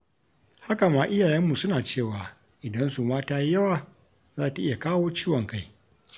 Haka ma iyayenmu suna cewa idan suma ta yi yawa, za ta iya kawo ciwon kai.